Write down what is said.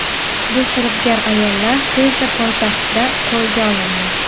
Ushbu firibgar ayollar tezda poytaxtda qo‘lga olindi.